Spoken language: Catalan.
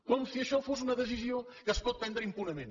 com si això fos una decisió que es pot prendre impunement